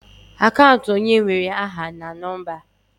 Akant onye nwere aha na nọmba.